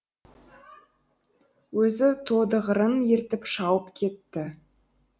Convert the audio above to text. өзі тодығырын ертіп шауып кетті